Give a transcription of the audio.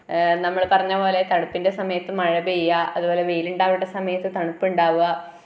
A നമ്മള് പറഞ്ഞപോലെ തണുപ്പിന്റെ സമയത്തും മഴ പെയ്യാ അതുപോലെ വെയിലുണ്ടാവേണ്ട സമയത്തു തണുപ്പ് ഉണ്ടാവുവ .